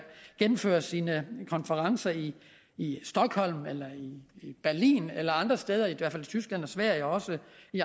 gennemføre sine konferencer i i stockholm eller i berlin eller andre steder i hvert fald i tyskland og sverige og også